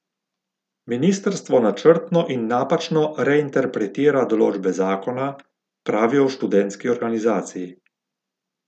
Ministrstvo načrtno in napačno reinterpretira določbe zakona, pravijo v študentski organizaciji.